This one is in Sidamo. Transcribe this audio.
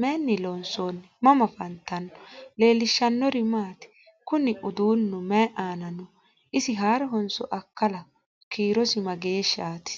Maayinni loonisoonni? mama affanttanno? leelishanori maati? kuuni udunu mayi ana no?isi harohonso akalaho? kiirosi mageshite?